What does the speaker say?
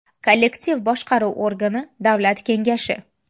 Kollektiv boshqaruv organi, Davlat kengashi.